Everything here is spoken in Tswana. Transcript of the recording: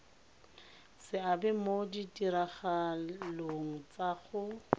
seabe mo ditiragalong tsa go